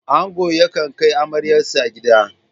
Angon yakan kai amaryarsa gida.